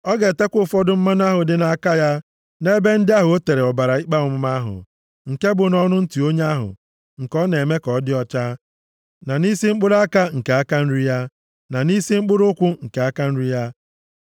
Ọ ga-etekwa ụfọdụ mmanụ ahụ dị nʼaka ya nʼebe ndị ahụ o tere ọbara ikpe ọmụma ahụ, nke bụ nʼọnụ ntị onye ahụ nke a na-eme ka ọ dị ọcha, na nʼisi mkpụrụ aka nke aka nri ya, na nʼisi mkpụrụ ụkwụ nke aka nri ya.